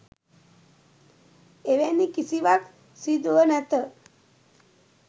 එවැනි කිසිවක් සිදුව නැත